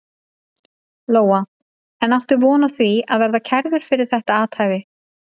Lóa: En áttu von á því að verða kærður fyrir þetta athæfi?